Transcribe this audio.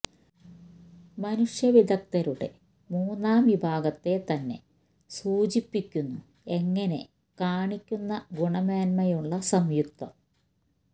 മനുഷ്യ വിദഗ്ധരുടെ മൂന്നാം വിഭാഗത്തെ തന്നെ സൂചിപ്പിക്കുന്നു എങ്ങനെ കാണിക്കുന്ന ഗുണമേന്മയുള്ള സംയുക്ത